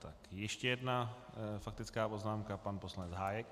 Tak ještě jedna faktická poznámka - pan poslanec Hájek.